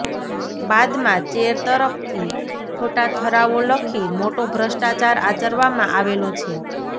બાદમાં ચેર તરફથી ખોટા ઠરાવો લખી મોટો ભ્રષ્ટાચાર આચરવામાં આવેલો છે